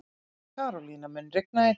Karolína, mun rigna í dag?